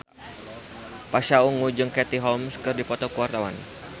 Pasha Ungu jeung Katie Holmes keur dipoto ku wartawan